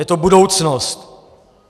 Je to budoucnost.